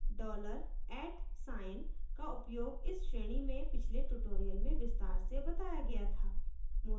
dollar @atsign का उपयोग इस श्रेणी में पिछले tutorials में विस्तार से बताया गया था